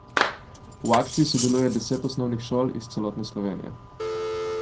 V akciji sodeluje deset osnovnih šol iz celotne Slovenije.